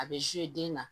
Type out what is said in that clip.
A bɛ den na